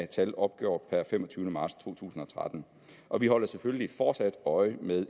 tal opgjort per femogtyvende marts to tusind og tretten og vi holder selvfølgelig fortsat øje med